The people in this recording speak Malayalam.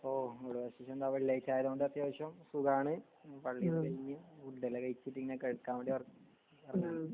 ഓ ഇവിടെ വിശേഷന്ത വെള്ളിയാഴ്ച്ച ആയതോണ്ട് അത്യാവശ്യം സുഖണ് പള്ളിയെല്ലാം കഴിഞ് ഫുഡെല്ലാം കഴിച്ട്ട് ങ്ങനെ കെടക്കാൻ വേണ്ടി എർ എറങ്ങാണ്